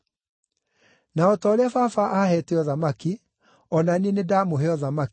Na o ta ũrĩa Baba aheete ũthamaki, o na niĩ nĩndamũhe ũthamaki,